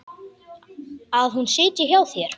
Að hún sitji hjá þér?